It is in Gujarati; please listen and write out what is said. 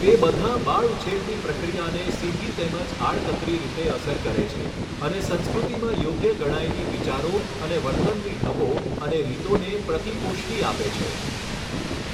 તે બધાં બાળઉછેરની પ્રક્રિયાને સીધી તેમજ આડકતરી રીતે અસર કરે છે અને સંસ્કૃતિમાં યોગ્ય ગણાયેલી વિચારો અને વર્તનની ઢબો અને રીતોને પ્રતિપુષ્ટિ આપે છે.